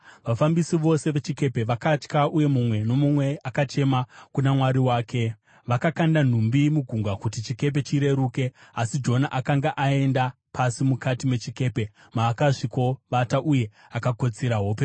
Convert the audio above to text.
Vafambisi vose vechikepe vakatya uye mumwe nomumwe akachema kuna mwari wake. Vakakanda nhumbi mugungwa kuti chikepe chireruke. Asi Jona akanga aenda pasi mukati mechikepe maakasvikovata uye akakotsira hope huru.